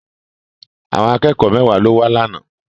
Àwọn akẹ́kọ̀ọ́ mẹ́wàá ló wá lánàá.